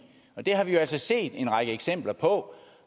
det har vi jo altså set en række eksempler på